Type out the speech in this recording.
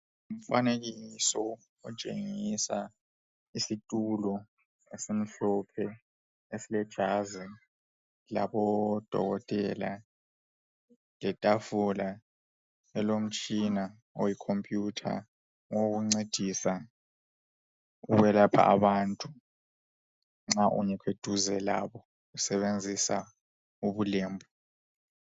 Umfanekiso otshengisa isitulo ezimhlophe esilejazi labodokotela letafula elomtshina oyicomputer owokungcedisa ukuyelapha abantu nxa ungekho eduze labo usebenzisa ubulembu